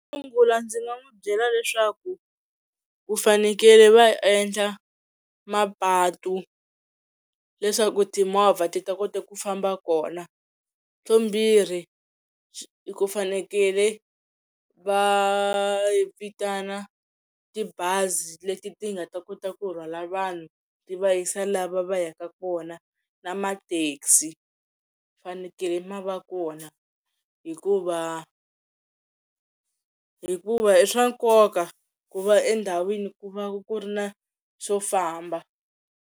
Xo sungula ndzi nga n'wi byela leswaku ku fanekele va endla mapatu leswaku timovha ti ta kota ku famba kona vumbirhi i ku fanekele va vitana tibazi leti ti nga ta kota ku rhwala vanhu ti va yisa lava va yaka kona na mathekisi fanekele ma va kona hikuva hikuva i swa nkoka ku va endhawini ku va ku ri na xo famba.